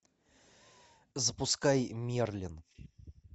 запускай мерлин